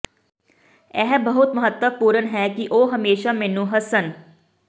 ਇਹ ਬਹੁਤ ਮਹੱਤਵਪੂਰਨ ਹੈ ਕਿ ਉਹ ਹਮੇਸ਼ਾ ਮੈਨੂੰ ਹੱਸਣ